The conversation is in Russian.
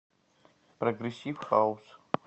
прогрессив хаус